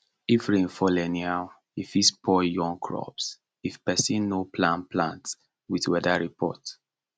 if rain fall anyhow e fit spoil young crops if person no plan plant with weather report